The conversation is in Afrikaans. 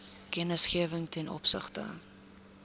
kennisgewing ten opsigte